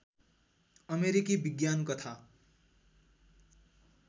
अमेरिकी विज्ञान कथा